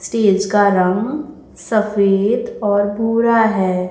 Stage का रंग सफेद और भूरा है।